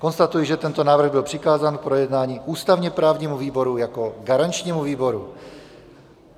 Konstatuji, že tento návrh byl přikázán k projednání ústavně-právnímu výboru jako garančnímu výboru.